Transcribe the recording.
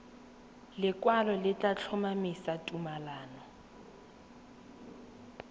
lekwalo le tla tlhomamisa tumalano